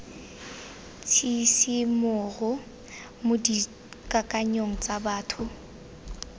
tshisimogo mo dikakanyong tsa batho